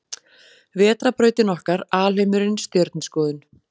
Vetrarbrautin okkar Alheimurinn Stjörnuskoðun.